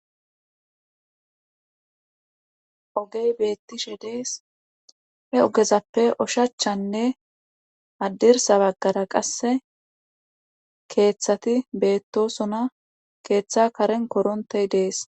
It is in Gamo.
ogey beettishe dees. he ogezappe oshachanne haddirsa baggara qasse keeththati beettosona.keeththa karen koronttey dees.